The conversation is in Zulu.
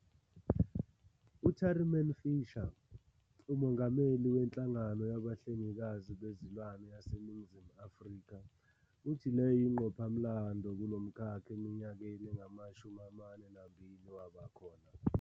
U-Tariman Fisher, uMongameli weNhlangano Yabahlengikazi Bezilwane yaseNingizimu Afrika, uthi le yingqophamlando kulo mkhakha eminyakeni engama-42 waba khona.